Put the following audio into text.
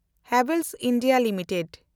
Havells India limited